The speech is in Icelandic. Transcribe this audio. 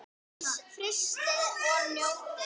Frystið og njótið.